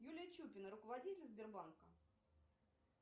юлия чупина руководитель сбербанка